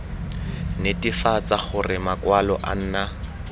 netefatsa gore makwalo a nna